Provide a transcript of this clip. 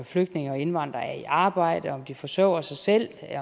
flygtninge og indvandrere er i arbejde om de forsørger sig selv